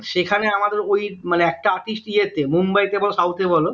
সেখানে আমাদের ওই মানে একটা artist ইয়েতে মানে মুম্বাইতে বল south এ বল